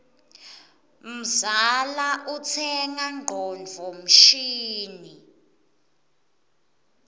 mzala utsenga ngcondvo mshini